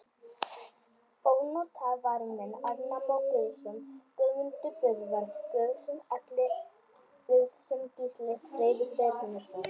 Ónotaðir varamenn: Arnar Már Guðjónsson, Guðmundur Böðvar Guðjónsson, Atli Guðjónsson, Gísli Freyr Brynjarsson.